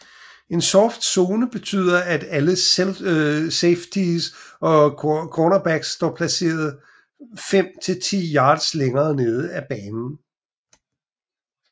En soft zone betyder at alle safeties og cornerbacks står placeret fem til ti yards længere nede af banen